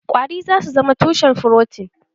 Ƙwari zasu zama tushen furotin.